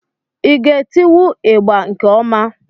Ị ga etiwu ịgbà nke ọma?